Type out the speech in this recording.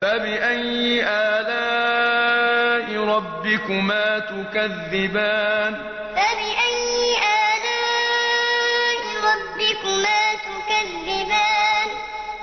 فَبِأَيِّ آلَاءِ رَبِّكُمَا تُكَذِّبَانِ فَبِأَيِّ آلَاءِ رَبِّكُمَا تُكَذِّبَانِ